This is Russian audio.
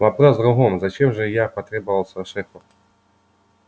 вопрос в другом зачем же я потребовался шефу